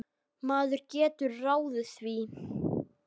Maður getur ráðið því.